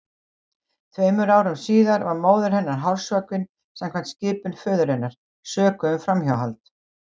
Tveimur árum síðar var móðir hennar hálshöggvin samkvæmt skipun föður hennar, sökuð um framhjáhald.